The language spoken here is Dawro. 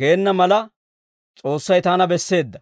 geena mala, S'oossay taana besseedda.